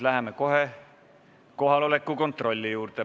Läheme kohe kohaloleku kontrolli juurde.